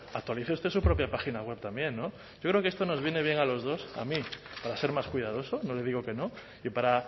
actualice usted su propia página web también yo creo que esto nos viene a los dos a mí para ser más cuidadoso no le digo que no y para